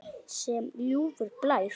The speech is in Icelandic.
Sem ljúfur blær.